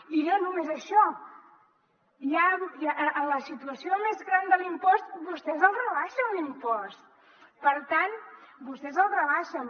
i no només això en la situació més gran de l’impost vostès el rebaixen l’impost vostès el rebaixen